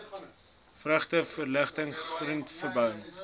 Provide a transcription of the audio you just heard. vrugte voorligting groenteverbouing